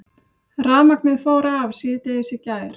Rafmagnið fór af síðdegis í gær